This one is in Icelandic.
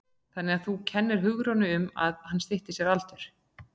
Þannig að þú kennir Hugrúnu um að hann stytti sér aldur?